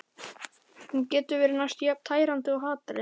Hún getur verið næstum jafn tærandi og hatrið.